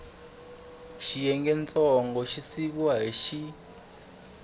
xiyengantsongo xi siviwile hi x